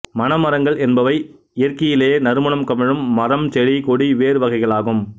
மணமரங்கள் என்பவை இயற்கையிலேயே நறுமணம் கமழும் மரம் செடி கொடி வேர் வகைகளாகும்